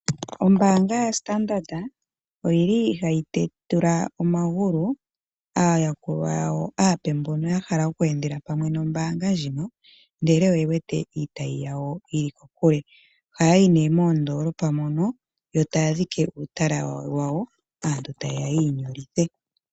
Ombanga yaStandard oyili hayi tetula omagulu aayakulwa yawo aape mbono ya hala okweendela pamwe nombanga ndjino ndele oye wete iitayi yawo yili kokule ohaya yi ne moondolopa mono yo taya dhike uutala wawo aantu taye ya yiinyolithe.